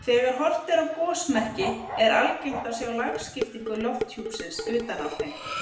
Þegar horft er á gosmekki er algengt að sjá lagskiptingu lofthjúpsins utan á þeim.